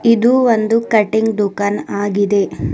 ಇದು ಒಂದು ಕಟಿಂಗ್ ದುಕಾನ್ ಆಗಿದೆ.